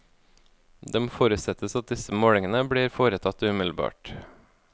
Det må forutsettes at disse målingene blir foretatt umiddelbart.